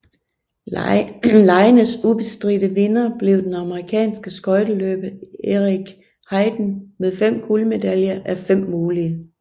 Legenes ubestridte vinder blev den amerikanske skøjteløber Eric Heiden med fem guldmedaljer af fem mulige